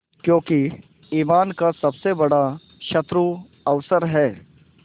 क्योंकि ईमान का सबसे बड़ा शत्रु अवसर है